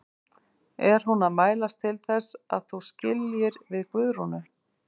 Er hún að mælast til þess að þú skiljir við Guðrúnu?